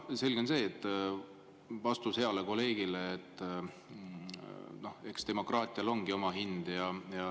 Selge on see, et vastus heale kolleegile – eks demokraatial ongi oma hind.